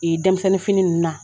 dɛmisɛnninfini ninnu na